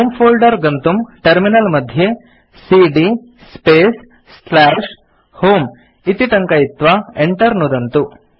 होमे फोल्डर गन्तुं टर्मिनल मध्ये सीडी स्पेस् होमे इति टङ्कयित्वा enter नुदन्तु